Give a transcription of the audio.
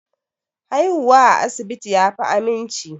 Haihuwa a asibiti yafi aminci